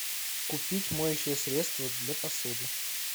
купить моющее средство для посуды